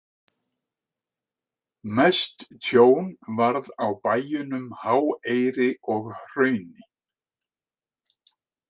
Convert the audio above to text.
Mest tjón varð á bæjunum Háeyri og Hrauni.